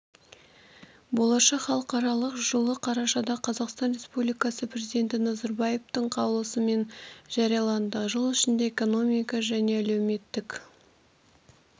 болашақ халықаралық жылы қарашада қазақстан республикасы президенті назарбаевтың қаулысымен жарияланды жыл ішінде экономика және әлеуметтік